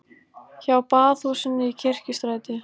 Hjá Baðhúsinu í Kirkjustræti.